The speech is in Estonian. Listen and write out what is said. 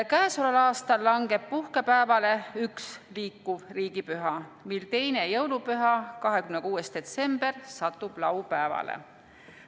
Käesoleval aastal langeb puhkepäevale üks liikuv riigipüha, mil teine jõulupüha, 26. detsember satub laupäevale.